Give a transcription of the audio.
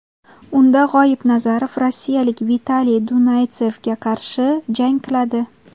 Unda G‘oibnazarov rossiyalik Vitaliy Dunaytsevga qarshi jang qiladi.